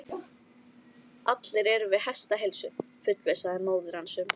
Allir eru við hestaheilsu, fullvissaði móðir hans um.